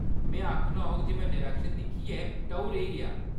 में आखना होग जे में डरैक्शन दिक्खियै टऊ रेही गेआ।